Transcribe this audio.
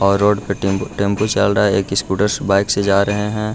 और रोड पे tempo tempo चल रहा है एक स्कूटर बाइक से जा रहे हैं।